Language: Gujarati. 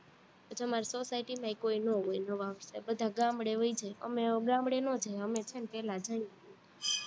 પછી અમારી society માંય કોઈ નો હોય, નવા વર્ષે બધા ગામડે વઈ જાય, અમે ગામડે નો જાય, અમે છે ને પેલા જઈ